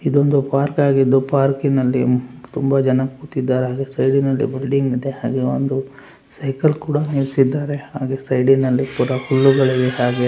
ಇದೊಂದು ಪಾರ್ಕ್ ಆಗಿದ್ದು ಪಾರ್ಕಿ ನಲ್ಲಿ ತುಂಬಾ ಜನ ಕೂತಿದ್ದಾರೆ ಅದರ ಸೈಡಿ ನಲ್ಲಿ ಬಿಲ್ಡಿಂಗ ಇದೆ ಹಾಗೆ ಒಂದು ಸೈಕಲ್ ಕೂಡ ನಿಲ್ಲಸಿದ್ದಾರೆ ಹಾಗೆ ಸೈಡಿ ನಲ್ಲಿ ಪುರಾ ಹುಲ್ಲುಗಳಿವೆ ಹಾಗೆ --